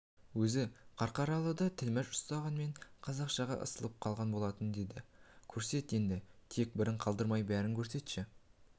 өзі қарқаралыда тілмәш ұстағанмен қазақшаға ысылып қалған болатын деді көрсет енді тек бірін қалдырмай бәрін көрсетші